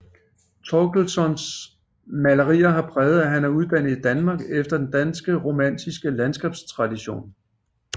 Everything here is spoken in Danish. Thorlkssons malerier har præg af at han er uddannet i Danmark efter den danske romantiske landskabstradition